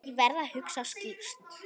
Ég verð að hugsa skýrt.